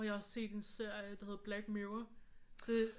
Og jeg har set en serie der hedder Black Mirror det